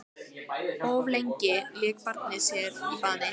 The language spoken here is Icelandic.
Of lengi lék barnið sér í baði